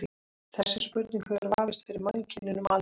Þessi spurning hefur vafist fyrir mannkyninu um aldir.